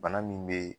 Bana min bɛ